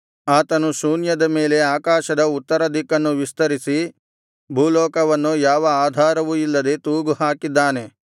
ಆತನು ಶೂನ್ಯದ ಮೇಲೆ ಆಕಾಶದ ಉತ್ತರ ದಿಕ್ಕನ್ನು ವಿಸ್ತರಿಸಿ ಭೂಲೋಕವನ್ನು ಯಾವ ಆಧಾರವೂ ಇಲ್ಲದೆ ತೂಗು ಹಾಕಿದ್ದಾನೆ